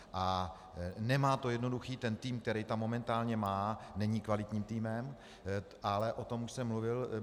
A nemá to jednoduché, ten tým, který tam momentálně má, není kvalitním týmem, ale o tom už jsem mluvil.